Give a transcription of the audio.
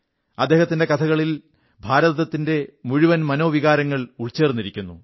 അദ്ദേഹത്തിന്റെ കഥകളിൽ ഭാരതത്തിന്റെ മുഴുവൻ മനോവികാരങ്ങൾ ഉൾച്ചേർന്നിരിക്കുന്നു